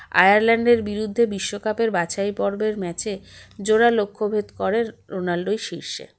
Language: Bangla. আয়ারল্যান্ডের বিরুদ্ধে বিশ্বকাপের বাছাইপর্বের match -এ জোড়া লক্ষ্যভেদ করে রোনাল্ডোই শীর্ষে